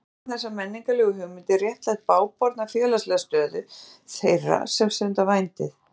Um leið hafa þessar menningarlegu hugmyndir réttlætt bágborna félagslega stöðu þeirra sem stunda vændið.